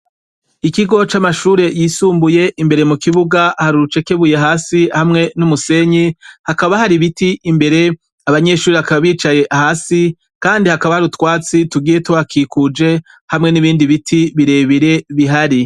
Ikigo c'amashure yisumbuye. Imbere mu kibuga hari urucekebuye hasi, hamwe n'umusenyi. Hakaba hari biti imbere ; abanyeshuri hakaba bicaye hasi, kandi hakaba hari utwatsi tugiye tuhakikuje, hamwe n'ibindi biti birebire bihari.